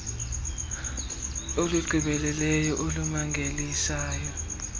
olunomahluko olugqibeleleyo olumangalisayo